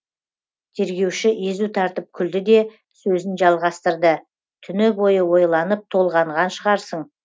тергеуші езу тартып күлді де сөзін жалғастырды түні бойы ойланып толғанған шығарсың